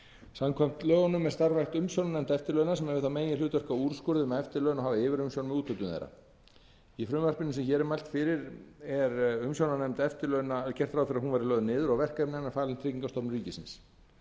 samkvæmt lögunum er starfrækt umsjónarnefnd eftirlauna sem hefur það meginhlutverk að úrskurða um eftirlaun og hafa yfirumsjón með úthlutun þeirra í frumvarpinu sem hér er mælt fyrir er gert ráð fyrir að umsjónarnefnd eftirlauna verði lögð niður og verkefni hennar falin tryggingastofnun ríkisins